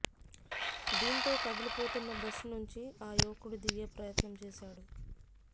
దీంతో కదిలిపోతున్న బస్సు నుంచి ఆ యువకుడు దిగే ప్రయత్నం చేశాడు